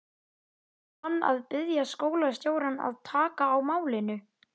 Ætlar hann að biðja skólastjórann að taka á málinu?